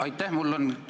Aitäh!